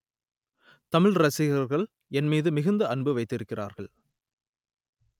தமிழ் ரசிகர்கள் என் மீது மிகுந்த அன்பு வைத்திருக்கிறார்கள்